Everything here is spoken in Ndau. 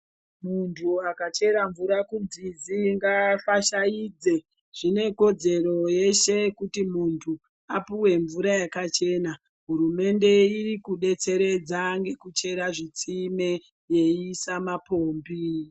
Muntu akachera mvura kunzizi ngaafashaidze. Zvine kodzero yeshe kuti muntu apuwe mvura yakachena. Hurumende iri kudetseredza ngekuchera zvitsime yeiisa mapombi.